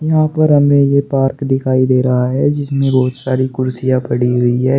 यहां पर हमें ये पार्क दिखाई दे रहा है जिसमें बहुत सारी कुर्सियां पड़ी हुई है।